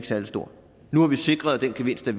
særlig stor nu har vi sikret at den gevinst er